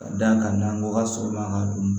Ka d'a kan n'an ko ka sɔgɔma an ka dun